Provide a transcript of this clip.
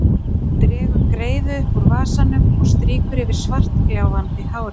Dregur greiðu upp úr vasanum og strýkur yfir svartgljáandi hárið.